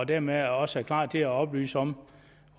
dermed også klar til at oplyse om